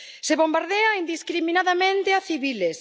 Se bombardea indiscriminadamente a civiles,